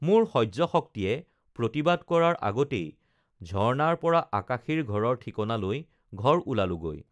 মোৰ সহ্য শক্তিয়ে প্ৰতিবাদ কৰাৰ আগতেই ঝৰ্ণাৰ পৰা আকাশীৰ ঘৰৰ ঠিকনা লৈ ঘৰ ওলালোগৈ